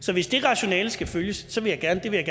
så hvis det rationale skal følges vil jeg gerne